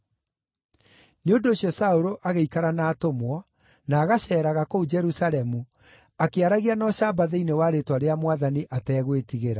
Nĩ ũndũ ũcio Saũlũ agĩikara na atũmwo, na agaceeraga kũu Jerusalemu, akĩaragia na ũcamba thĩinĩ wa rĩĩtwa rĩa Mwathani, ategwĩtigĩra.